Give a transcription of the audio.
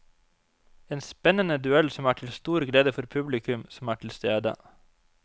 En spennende duell som er til stor glede for publikum som er til stede.